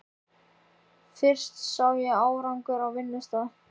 Fyrst sá ég árangur á vinnustað.